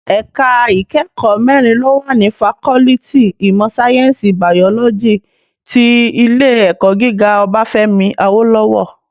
Èká ikèékò mèrín ló wá ni fákòlìtí imò sáyènsí bàyólòjí ti Ilé èkò gigá Obafemi Awolowo